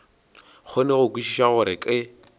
kgone go kwešiša gore ke